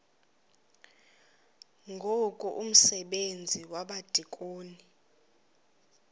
ngoku umsebenzi wabadikoni